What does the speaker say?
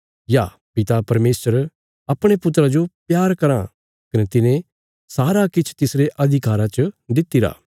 या पिता परमेशर अपणे पुत्रा जो प्यार करां कने तिने सारा किछ तिसरे अधिकारा च दित्तिरा